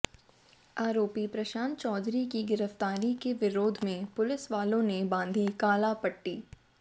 आरोपी प्रशांत चौधरी की गिरफ्तारी के विरोध में पुलिसवालों ने बांधी काली पट्टी